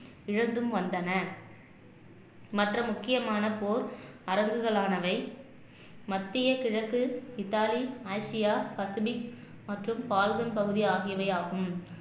இழந்தும் வந்தன மற்ற முக்கியமான போர் அரங்குகளானவை மத்திய கிழக்கு இத்தாலி ஆசியா பசபிக் மற்றும் பகுதி ஆகியவை ஆகும்